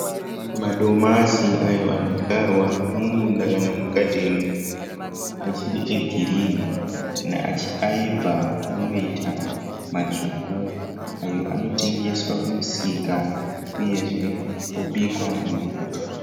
Madomasi ayo anodyarwa mumunda kana mugadheni achiri egirinhi, aibva anoita matsvuku ayo anotengeswa kumusika uyezve obikwa mupoto.